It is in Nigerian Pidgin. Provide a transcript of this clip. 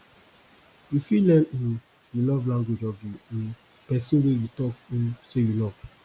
you fit learn um di love language of di um pesin wey you talk um sey you love